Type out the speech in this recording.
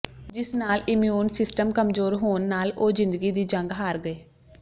ਜਿਸ ਨਾਲ immune system ਕਮਜ਼ੋਰ ਹੋਣ ਨਾਲ ਉਹ ਜ਼ਿੰਦਗੀ ਦੀ ਜੰਗ ਹਾਰ ਗਏ